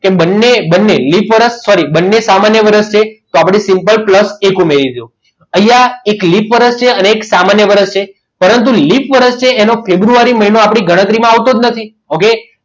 કે બંને બંને લિપ વર્ષ સોરી બંને સામાન્ય વર્ષ છે તો આપણે simple plus એક ઉમેરીશું અહીંયા એક લિપ વર્ષ છે અને એક સામાન્ય વર્ષ છે પરંતુ લીપ વરસ છે એનો ફેબ્રુઆરી મહિનો આપણી ગણતરીમાં આવતો જ નથી. okay